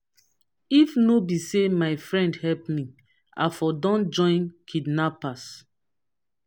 if no be say my friend help me i for don join kidnappers